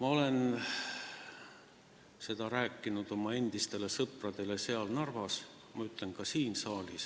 Ma olen seda öelnud oma endistele sõpradele Narvas ja ütlen ka siin saalis: